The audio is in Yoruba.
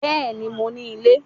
Bẹ́ẹ̀ni, mo ní ilé